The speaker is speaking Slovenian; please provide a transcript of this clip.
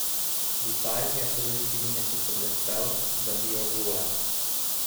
V Italiji je prve štiri mesece blestel, zabijal gole.